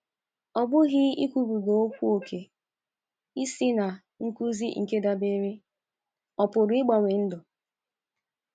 Ọ BỤGHỊ ikwubiga okwu ókè ịsị na nkụzi nke dabeere o pụrụ ịgbanwe ndụ.